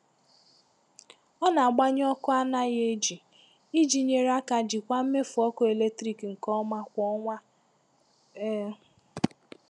Ọ na-agbanyụ ọkụ anaghị eji iji nyere aka jikwaa mmefu ọkụ eletrik nke ọma kwa ọnwa. um